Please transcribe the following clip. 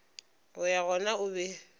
go ya gona o be